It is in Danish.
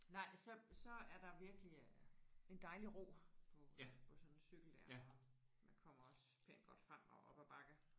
Nej så så er der virkelig øh en dejlig ro på på sådan en cykel der og man kommer også pænt godt frem og op ad bakke